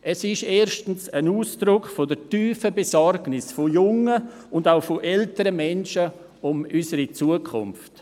Diese ist erstens ein Ausdruck der tiefen Besorgnis vieler junger und älterer Menschen um unsere Zukunft.